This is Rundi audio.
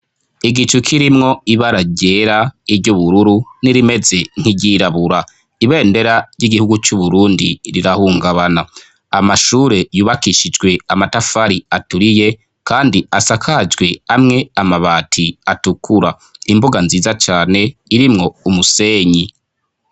Igicu kirimwo ibara ryera, iry'ubururu, n'irimeze nk'iryirabura, ibendera ry'igihugu c'Uburundi rirahungabana, amashure yubakishijwe amatafari aturiye kandi asakajwe amwe amabati atukura, imbuga nziza cane irimwo umusenyi.